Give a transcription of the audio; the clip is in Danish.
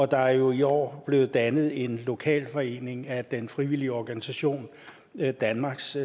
der er jo i år blevet dannet en lokalforening af den frivillige organisation danmarks